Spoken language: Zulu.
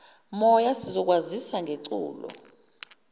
moya sizokwazisa ngeculo